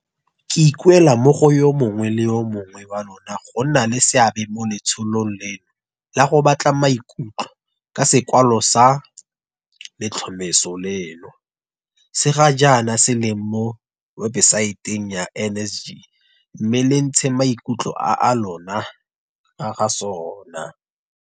Ke ikuela mo go yo mongwe le yo mongwe wa lona go nna le seabe mo letsholong leno la go batla maikutlo ka sekwalwa sa letlhomeso leno, se ga jaana se leng mo webesaeteng ya NSG mme le ntshe maikutlo a lona ka ga sona.